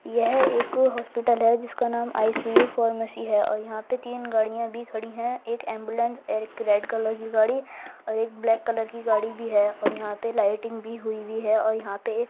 यह एक हॉस्पिटल है जिसका नाम आई.सी.यू फार्मेसी है और यहाँ पर तीन गाड़ियाँ भी खड़ी हैं एक एम्बुलेंस और एक रेड कलर की गाड़ी और एक ब्लैक कलर की गाड़ी भी है और यहाँ पे लाइटिंग भी हुई वी है और यहाँ पे एक --